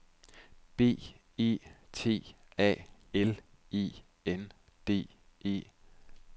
B E T A L E N D E